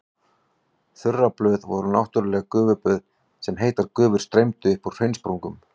Þurraböð voru náttúrleg gufuböð þar sem heitar gufur streymdu upp úr hraunsprungum.